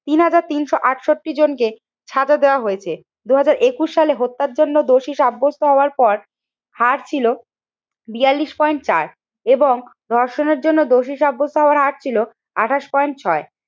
তিন হাজার তিনশো আটষট্টি জনকে সাজা দেওয়া হয়েছে। দুই হাজার একুশ সালে হত্যার জন্য দোষী সাব্যস্ত হওয়ার পর হারছিল বিয়াল্লিশ পয়েন্ট চার এবং ধর্ষণের জন্য দোষী সাব্যস্ত হওয়ার হার ছিল আঠাশ পয়েন্ট ছয়।